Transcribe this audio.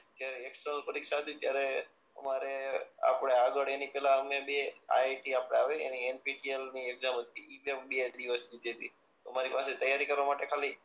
એ એક તો પરીક્ષા હતી ત્યારે અમારે આપણા આગળ એની પેલા અમને બે આઈડિયા આવે એની વ્એર્નચ્પીમ સીએલ ની એક્ઝામ હતી એ ભી બે દિવસ ની છેટી